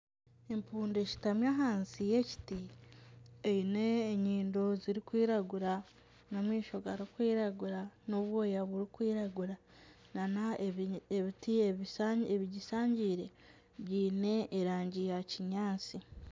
Empundu eshutami ahansi y'ekiti eine enyindo zirikwiragura n'amasiho garikwiragura n'obwoya burikwiragura nana ebiti ebigishangiire biine erangi ya kinyaatsi.